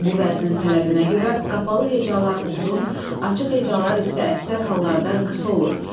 Bu vəznin tələbinə görə qapalı hecalar uzun, açıq hecalar isə əksər hallarda qısa olur.